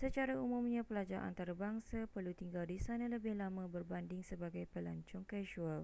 secara umumnya pelajar antarabangsa perlu tinggal di sana lebih lama berbanding sebagai pelancong kasual